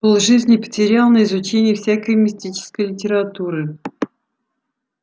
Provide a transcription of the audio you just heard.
полжизни потерял на изучение всякой мистической литературы